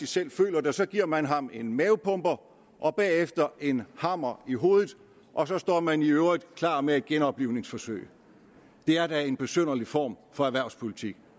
selv føler det og så giver man ham en mavepuster og bagefter en hammer i hovedet og så står man i øvrigt klar med et genoplivningsforsøg det er da en besynderlig form for erhvervspolitik